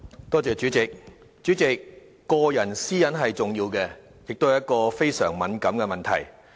代理主席，個人私隱是重要的，也是非常敏感的問題。